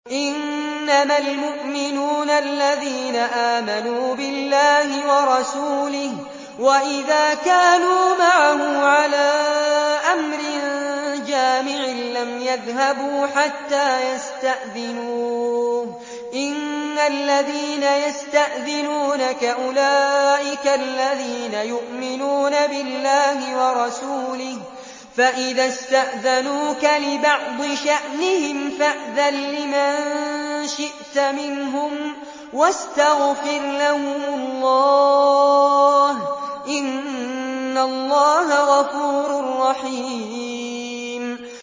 إِنَّمَا الْمُؤْمِنُونَ الَّذِينَ آمَنُوا بِاللَّهِ وَرَسُولِهِ وَإِذَا كَانُوا مَعَهُ عَلَىٰ أَمْرٍ جَامِعٍ لَّمْ يَذْهَبُوا حَتَّىٰ يَسْتَأْذِنُوهُ ۚ إِنَّ الَّذِينَ يَسْتَأْذِنُونَكَ أُولَٰئِكَ الَّذِينَ يُؤْمِنُونَ بِاللَّهِ وَرَسُولِهِ ۚ فَإِذَا اسْتَأْذَنُوكَ لِبَعْضِ شَأْنِهِمْ فَأْذَن لِّمَن شِئْتَ مِنْهُمْ وَاسْتَغْفِرْ لَهُمُ اللَّهَ ۚ إِنَّ اللَّهَ غَفُورٌ رَّحِيمٌ